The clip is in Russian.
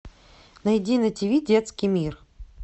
найди на тиви детский мир